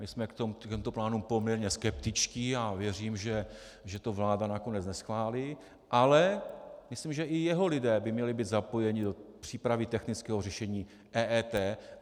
My jsme k těmto plánům poměrně skeptičtí a věřím, že to vláda nakonec neschválí, ale myslím, že i jeho lidé by měli být zapojeni do přípravy technického řešení EET.